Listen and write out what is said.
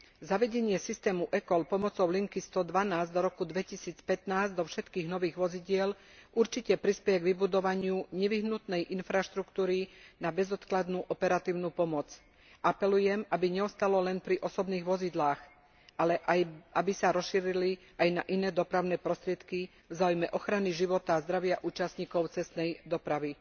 Zavedenie systému e call pomocou linky 112 do roku 2015 do všetkých nových vozidiel určite prispeje kvybudovaniu nevyhnutnej infraštruktúry na bezodkladnú operatívnu pomoc. Apelujem, aby neostalo len pri osobných vozidlách, ale aby sa rozšírili aj na iné dopravné prostriedky vzáujme ochrany života azdravia účastníkov cestnej dopravy.